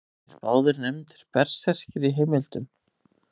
Eru þeir báðir nefndir berserkir í heimildum.